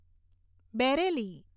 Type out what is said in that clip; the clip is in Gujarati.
બેરેલી